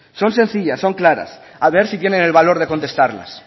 son sencillas son claras a ver si tienen el valor de contestarlas